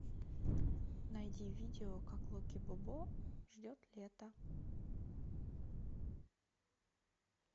найди видео как локи бобо ждет лета